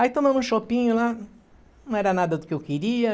Aí tomamos um choppinho lá, não era nada do que eu queria.